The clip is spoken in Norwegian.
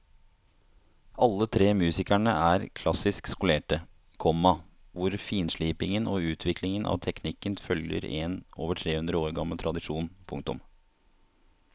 Alle tre musikerne er klassisk skolerte, komma hvor finslipingen og utviklingen av teknikken følger en over tre hundre år gammel tradisjon. punktum